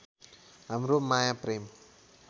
हाम्रो माया प्रेम